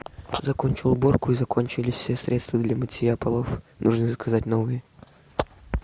закончил уборку и закончились все средства для мытья полов нужно заказать новые